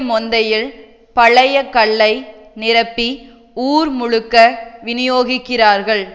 மொந்தையில் பழைய கள்ளை நிரப்பி ஊர் முழுக்க விநியோகிக்கிறார்கள்